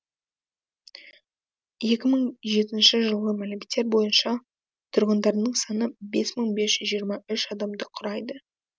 екі мың жетінші жылғы мәліметтер бойынша тұрғындарының саны бес мың бес жүз жиырма үш адамды құрайды